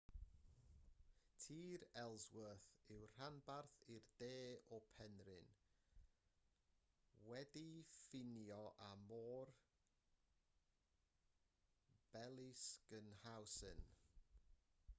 tir ellsworth yw'r rhanbarth i'r de o'r penrhyn wedi'i ffinio â môr bellingshausen